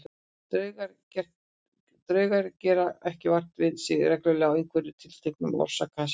Draugar gera ekki vart við sig reglulega í einhverju tilteknu orsakasamhengi.